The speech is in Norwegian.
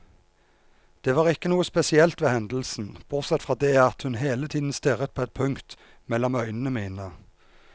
Det var ikke noe spesielt ved hendelsen, bortsett fra det at hun hele tiden stirret på et punkt mellom øynene mine.